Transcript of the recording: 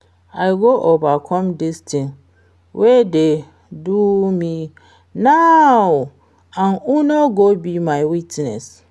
I go overcome dis thing wey dey do me now and una go be my witness